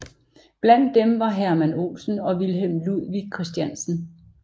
Blandt dem var Hermann Olson og Wilhelm Ludwig Christiansen